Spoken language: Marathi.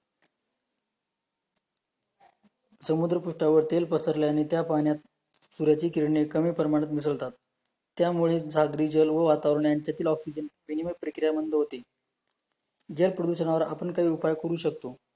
समुद्र पृष्ठावर तेल पसरल्याने त्या पाण्यात सूर्याची किरणे कमी प्रमाणात मिसळतात, त्यामुळे सागरी जल व वातावरणातील ऑक्सीजन मिनिमल प्रक्रिया मादे होते, जल प्रदुषणावर आपण काय उपाय करू शकतो?